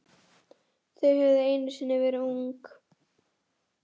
Þau höfðu einu sinni verið ung.